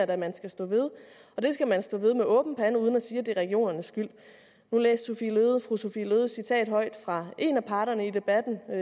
da man skal stå ved og det skal man stå ved med åben pande uden at sige at det er regionernes skyld nu læste fru sophie løhde et citat højt fra en af parterne i debatten jeg